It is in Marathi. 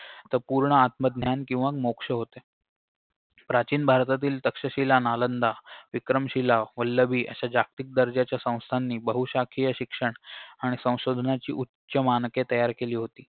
तर पूर्ण आत्मज्ञान किंवा मोक्ष होते प्राचीन भारतातील तक्षशिला नालंदा विक्रमशिला वल्लभी अशा जागतिक दर्जाच्या संस्थांनी बहुशाखीय शिक्षण आणि संशोधनाची उच्च मानके तयार केली होती